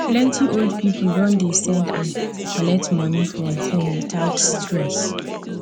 plenty old people don dey send and collect money from phone without stress